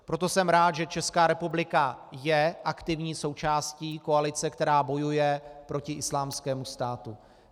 Proto jsem rád, že Česká republika je aktivní součástí koalice, která bojuje proti Islámskému státu.